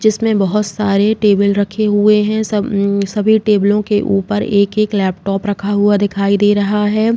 जिसमे बोहोत सारे टेबल रखे हुए हैं। सब उम्म सभी टेबलों के ऊपर एक-एक लेपटॉप रखा हुआ दिखाई दे रहा है।